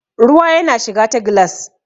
ruwa yana shiga ta gilas